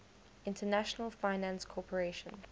international finance corporation